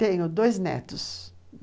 Tenho dois netos.